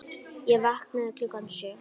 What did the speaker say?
Ég vaknaði klukkan sjö.